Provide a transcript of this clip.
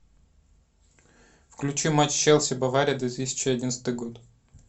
включи матч челси бавария две тысячи одиннадцатый год